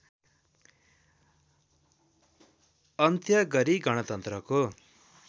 अन्त्य गरी गणतन्त्रको